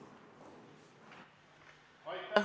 Aitäh!